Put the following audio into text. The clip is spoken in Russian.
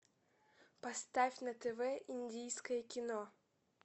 поставь на тв индийское кино